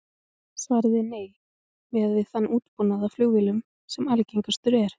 Svarið er nei, miðað við þann útbúnað á flugvélum sem algengastur er.